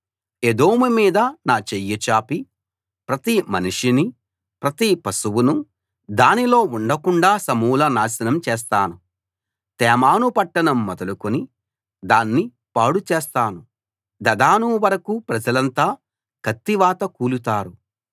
ఎదోము మీద నా చెయ్యి చాపి ప్రతి మనిషినీ ప్రతి పశువునూ దానిలో ఉండకుండాా సమూల నాశనం చేస్తాను తేమాను పట్టణం మొదలుకుని దాన్ని పాడుచేస్తాను దదాను వరకూ ప్రజలంతా కత్తివాత కూలుతారు